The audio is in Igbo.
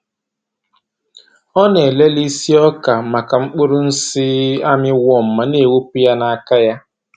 Ọ na-elele isi oka maka mkpụrụ nsị armyworm ma na-ewepu ya n'aka ya.